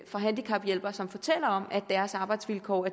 fra handicaphjælpere som fortæller om at deres arbejdsvilkår